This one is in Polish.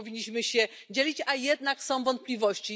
Nie powinniśmy się dzielić, a jednak są wątpliwości.